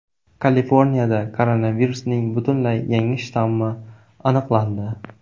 Kaliforniyada koronavirusning butunlay yangi shtammi aniqlandi.